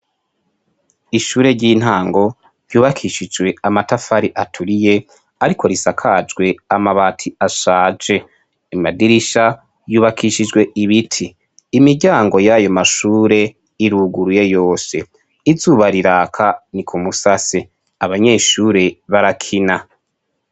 Ishure ry'intango ryubakishijwe amatafari aturiye, ariko risakajwe amabati ashaje, amadirisha yubakishijwe ibiti, imiryango yayo mashure iruguruye yose izuba riraka ni ku musase, abanyeshure barakina.